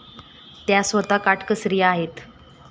त्या स्वतः काटकसरी आहेत.